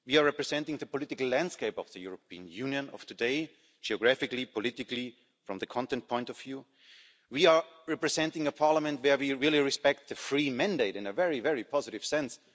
We are representing the political landscape of the European Union of today geographically, politically, from the content point of view. We are representing a Parliament where we really respect the free mandate in a very, very positive sense.